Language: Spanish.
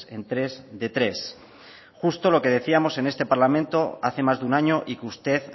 en tres de tres justo lo que decíamos en este parlamento hace más de un año y que usted